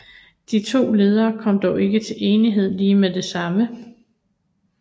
De to ledere kom dog ikke til enighed lige med det samme